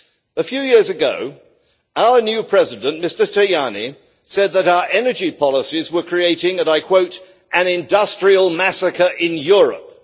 A few years ago, our new President, Mr Tajani, said that our energy policies were creating an industrial massacre in Europe'.